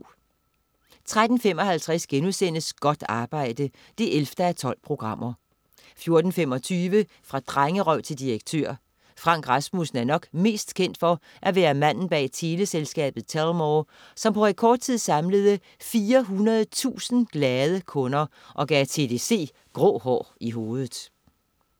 13.55 Godt arbejde 11:12* 14.25 Fra drengerøv til direktør. Frank Rasmussen er nok mest kendt for at være manden bag teleselskabet Telmore, som på rekordtid samlede 400.000 glade kunder og gav TDC grå hår i hovedet